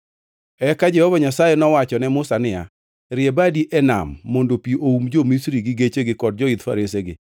Eka Jehova Nyasaye nowacho ne Musa niya, “Rie badi e nam mondo pi oum jo-Misri gi gechegi kod joidh faresegi.”